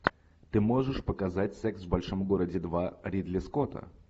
ты можешь показать секс в большом городе два ридли скотта